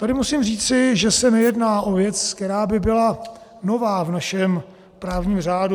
Tady musím říci, že se nejedná o věc, která by byla nová v našem právním řádu.